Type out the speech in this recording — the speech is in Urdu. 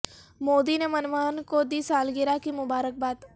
مودی نے منموہن کو دی سالگرہ کی مبارک باد